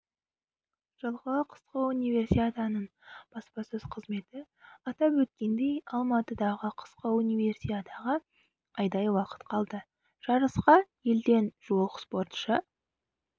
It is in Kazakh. жылғы қысқы универсиаданың баспасөзқызметі атап өткендей алматыдағы қысқы универсиадаға айдай уақыт қалды жарысқа елден жуық спортшы